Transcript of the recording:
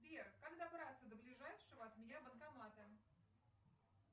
сбер как добраться до ближайшего от меня банкомата